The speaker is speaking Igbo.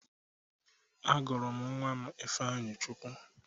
Agụrụ m nwa m Ifeanyịchukwu.